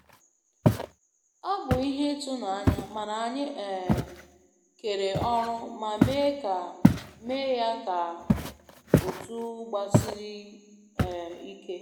Ọ bụ ihe ịtụnanya, mana anyị um kere ọrụ ma mee ya ka otu gbasiri um ike